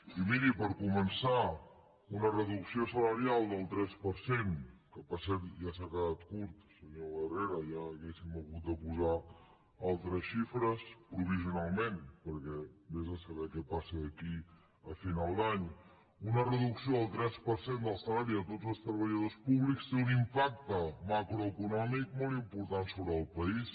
i miri per començar una reducció salarial del tres per cent que per cert ja s’ha quedat curt senyor herrera ja hauríem hagut de posar altres xifres provisionalment perquè vés a saber què passa d’aquí a final d’any del salari de tots els treballadors públics té un impacte macroeconòmic molt important sobre el país